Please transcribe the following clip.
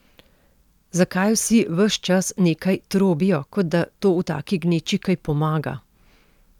Zakaj vsi ves čas nekaj trobijo, kot da to v taki gneči kaj pomaga?